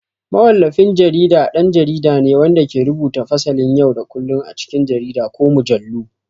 Mawallafin jarida ɗan jarida ne wanda ke rubuta fasalin yau da kullun a cikin jarida ko mujallu.